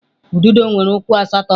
Ududo nwere ụkwụ asatọ.